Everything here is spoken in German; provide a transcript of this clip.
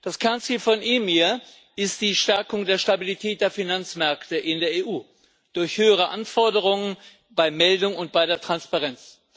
Das Kernziel von EMIR ist die Stärkung der Stabilität der Finanzmärkte in der EU durch höhere Anforderungen bei Meldung und bei der Transparenz.